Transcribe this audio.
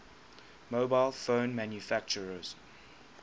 mobile phone manufacturers